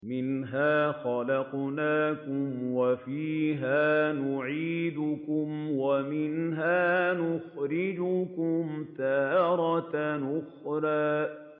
۞ مِنْهَا خَلَقْنَاكُمْ وَفِيهَا نُعِيدُكُمْ وَمِنْهَا نُخْرِجُكُمْ تَارَةً أُخْرَىٰ